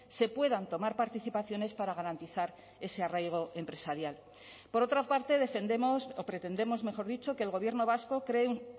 se puedan tomar participaciones para garantizar ese arraigo empresarial por otra parte defendemos o pretendemos mejor dicho que el gobierno vasco cree un